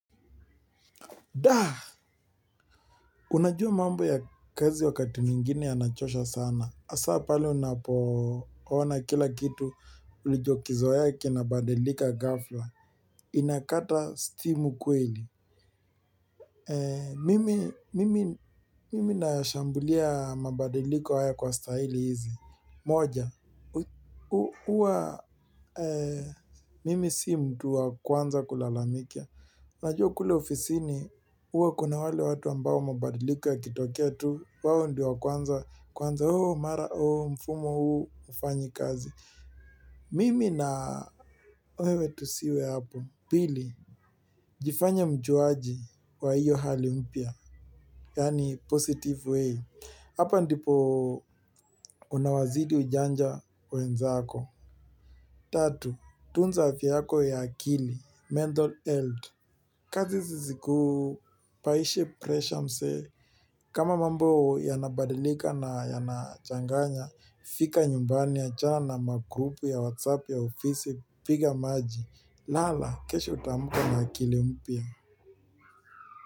Da, unajua mambo ya kazi wakati mwingine yanachosha sana. Hasa pale unapoona kila kitu, ulichokizoea kinabadilika ghafla. Inakata stimu mkweli. Mimi nashambulia mabadeliko haya kwa staili hizi. Moja huwa mimi si mtu wa kwanza kulalamika. Najua kule ofisini, huwa kuna wale watu ambao mabadiliko yakitokea tu, wao ndo wa kwanza, kwanza hoho, mara hoho, mfumo huu, ufanyi kazi. Mimi na wewe tusiwe hapo. Pili, jifanye mjuaji wa iyo hali mpya, yani positive way. Hapa ndipo unawazidi ujanja wenzaako. Tatu, tunza afya yako ya akili, mental health. Kazi ziziku paishi presha mse kama mambo yanabadilika na yanachanganya fika nyumbani achana na magrupu ya whatsapp ya ofisi piga maji lala kesho utamuka na akili mpya.